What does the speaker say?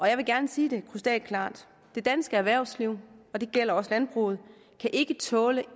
jeg vil gerne sige det krystalklart det danske erhvervsliv og det gælder også landbruget kan ikke tåle